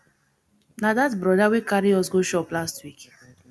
na dat brother wey carry us go chop last week